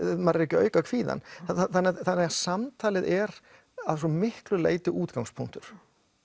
maður er ekki að auka kvíðann þannig að samtalið er að svo miklu leyti útgangspunktur